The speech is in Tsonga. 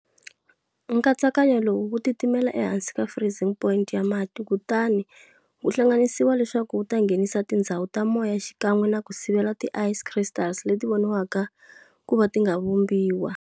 Nkatsakanyo lowu wu titimela ehansi ka freezing point ya mati kutani wu hlanganisiwa leswaku wuta nghenisa tindzhawu ta moya xikan'we naku sivela ti ice crystals leti voniwaka kuva tinga vumbiwi.